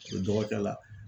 o dɔgɔkɛ la